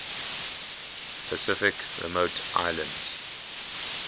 pacific remote islands